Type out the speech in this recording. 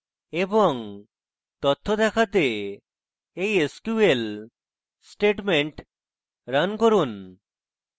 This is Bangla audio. এবং তথ্য দেখতে এই sql statements রান করুন